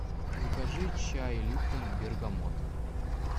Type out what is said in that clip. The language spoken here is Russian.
закажи чай липтон бергамот